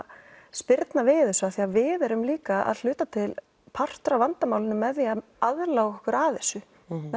spyrna við þessu af því að við erum líka að hluta til partur af vandamálinu með því að aðlaga okkur að þessu